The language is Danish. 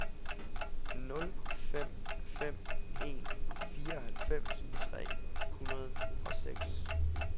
nul fem fem en fireoghalvfems tre hundrede og seks